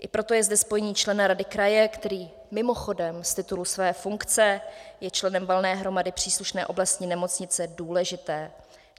I proto je zde spojení člena rady kraje, který mimochodem z titulu své funkce je členem valné hromady příslušné oblastní nemocnice, důležité.